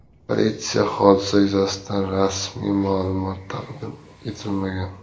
Politsiya hodisa yuzasidan rasmiy ma’lumot taqdim etmagan.